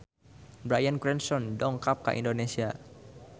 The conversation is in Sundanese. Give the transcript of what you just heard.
Bryan Cranston dongkap ka Indonesia